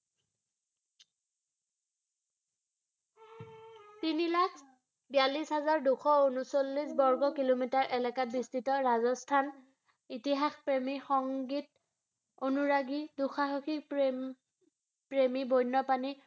তিনিলাখ বিয়াল্লিছ হাজাৰ দুশ ঊনচল্লিছ বৰ্গ কিলোমিটাৰ এলেকাত বিস্তৃত ৰাজস্থান, ইতিহাস প্ৰেমী, সংগীত অনুৰাগী, দু-সাহসিক প্ৰেমী, বন্যপ্ৰাণী